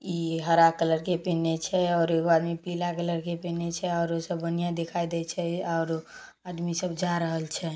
ई हरा कलर के पिहिन्ने छै और एगो आदमी पीला कलर के पिहिन्ने छै। बनियान दिखाई दे छै। आदमी सब जा रहल छै।